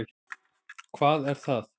Hvað er það?